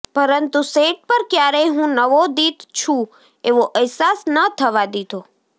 પરંતુ સેટ પર ક્યારેય હું નવોદિત છું એવો એહસાસ ન થવા દીધો